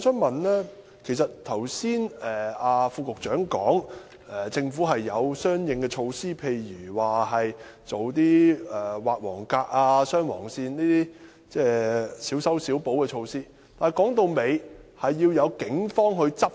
代理主席，剛才局長表示政府已有相應措施，例如加設黃格和劃雙黃線等小修小補的措施，但說到底，當局需要配合警方執法。